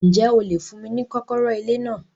Ǹjẹ́ o lè fún mí ni kọ́kọ́rọ́ ilé náà